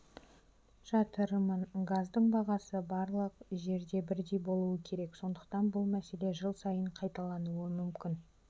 жатырмын газдың бағасы барлық жерде бірдей болуы керек сондықтан бұл мәселе жыл сайын қайталануы мүмкін